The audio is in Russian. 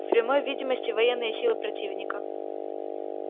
в прямой видимости военные силы противника